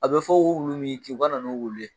A be fɔ ko wulu min y'i kin u ka na n'o wulu ye.